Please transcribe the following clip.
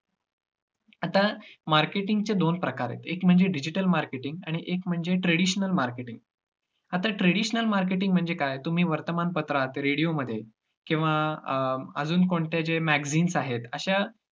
आता marketing ची दोन प्रकार आहेत. एक म्हणजे digital marketing आणि एक म्हणजे traditional marketing. आता traditional marketing म्हणजे काय, तुम्ही वर्तमान पत्रात radio मध्ये किंवा अं अजून कोणते जे magazines आहेत, अश्या